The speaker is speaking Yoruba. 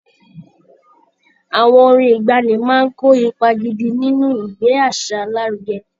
Àwọn orin ìgbaanì máa ń kó ipa gidi nínú ìgbé àṣà lárugẹ.